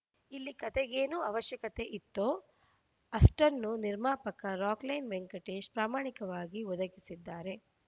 ಇಲ್ಲಿ ಕತೆಗೇನು ಅವಶ್ಯಕತೆ ಇತ್ತೋ ಅಷ್ಟನ್ನೂ ನಿರ್ಮಾಪಕ ರಾಕ್‌ಲೈನ್‌ ವೆಂಕಟೇಶ್‌ ಪ್ರಾಮಾಣಿಕವಾಗಿ ಒದಗಿಸಿದ್ದಾರೆ